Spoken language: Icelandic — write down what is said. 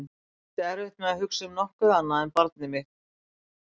Ég átti erfitt með að hugsa um nokkuð annað en barnið mitt.